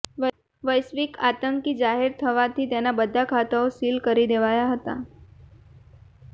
વૈશ્વિક આતંકી જાહેર થવાથી તેના બધા ખાતાઓ સીલ કરી દેવાયા હતા